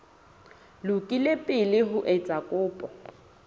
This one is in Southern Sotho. lokile pele o etsa kopo